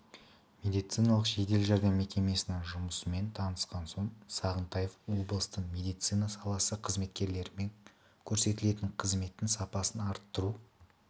медициналық жедел жәрдем мекемесінің жұмысымен танысқан соң сағынтаев облыстың медицина саласы қызметкерлерімен көрсетілетін қызметтің сапасын арттыру